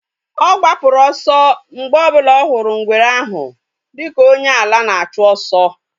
Ọ gbapụrụ ọsọ mgbe ọ bụla hụrụ ngwere ahụ dika onye ala na-achụ oso